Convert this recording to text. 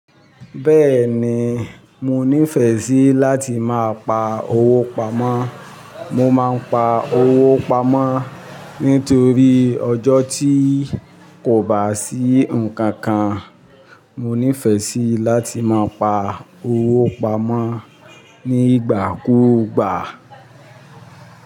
Bẹ́ẹ̀ni, mo nífẹ̀ẹ́ sí láti máa pa owó pamọ́. Mo máa ń pa owó pamọ́ nítorí ọjọ́ tí kò bá sí nǹkan kan. Mo nífẹ̀ẹ́ sí láti máa pa owó pamọ́ nígbàkúgbà.